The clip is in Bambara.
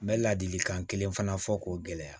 N bɛ ladilikan kelen fana fɔ k'o gɛlɛya